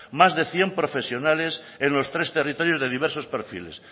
más de cien profesionales en los tres territorios de diversos perfiles